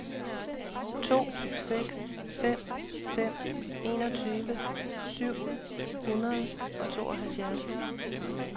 to seks fem fem enogtyve syv hundrede og tooghalvfjerds